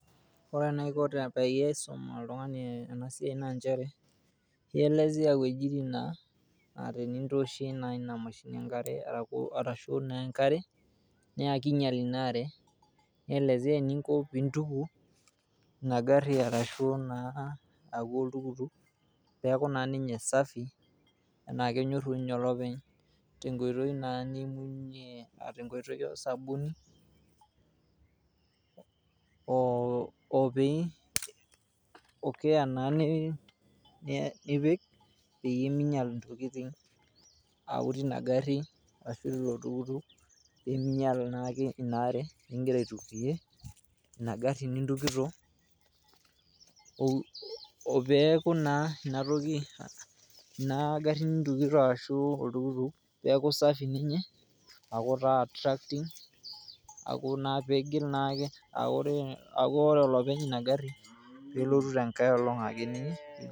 Ore enaiko peyie aisum oltungani ena siai naa nchere naa ielezea iwuejitin naa tinintoosh naa Ina mashini enkare arashu naa enkare naa kinyial inaa aare .nielezea eninko pintuku Ina gari arashu naa oltukutuk peaku naa ninye safi metaa kenyorru ninye olopeny tenkoitoi naa niimunyie , tenkoitoi oosabuni .